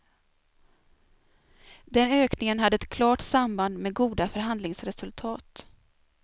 Den ökningen hade ett klart samband med goda förhandlingsresultat.